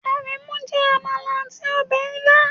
Aremu jẹ amala ati ọbẹ ila